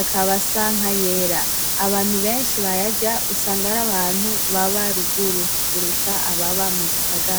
akaba asa nkayera abantu benshi bayarya usanga ari abantu baba ruguru kurusha ababa mu gisagara.